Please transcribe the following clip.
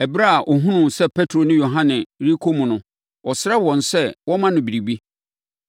Ɛberɛ a ɔhunuu sɛ Petro ne Yohane rekɔ mu no, ɔsrɛɛ wɔn sɛ wɔmma no biribi.